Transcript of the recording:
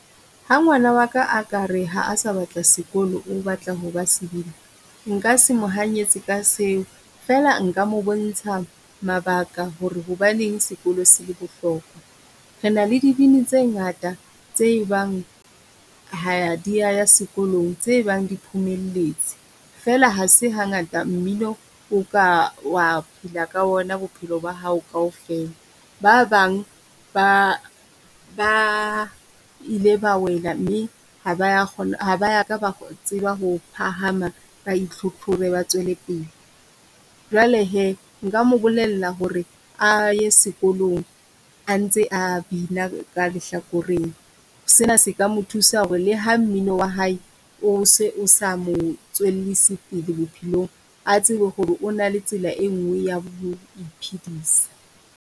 Ha ngwana waka a ka re ha a sa batla sekolo o batla hoba sebini, nka se mo hanyetse ka seo. Fela nka mo bontsha mabaka ho re hobaneng sekolo se bohlokwa. Re na le dibini tse ngata tse e bang ha di a ya sekolong tse bang di phomelletse. Fela ha se ha ngata mmino o ka wa phela ka ona bophelo ba hao kaofela. Ba bang ba ba ile ba wela, mme ha ba ya ha ba ya ka ba tseba ho phahama ba e tlhotlhore ba tswele pele. Jwale he, nka mo bolella ho re a ye sekolong a ntse a bina ka lehlakoreng. Se na se ka mo thusa ho re le ha mmino wa hae o se o sa mo tswellisi pele bophelong, a tsebe ho re ona le tsela e nngwe ya ho e phedisa.